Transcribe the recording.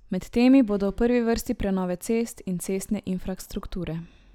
Med temi bodo v prvi vrsti prenove cest in cestne infrastrukture.